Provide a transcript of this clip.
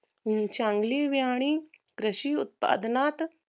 अं चांगली व्यांनी कृषी उत्पादनात